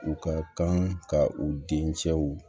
U ka kan ka u dencɛw